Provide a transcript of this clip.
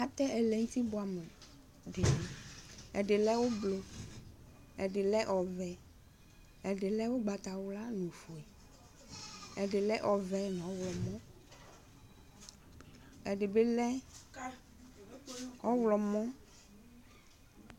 atɛ ɛlɛnʋti bʋamʋni ɛdilɛ ʋblʋ ɛdilɛ ɔvɛ ɛdilɛ ʋgbatawla ɛdilɛ ɔvɛ nʋ ɔwlɔmɔ ɛdibilɛ ɔwlɔmɔ